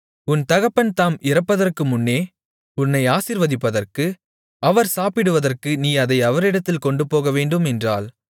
உன் தகப்பன் தாம் இறப்பதற்குமுன்னே உன்னை ஆசீர்வதிப்பதற்கு அவர் சாப்பிடுவதற்கு நீ அதை அவரிடத்தில் கொண்டுபோகவேண்டும் என்றாள்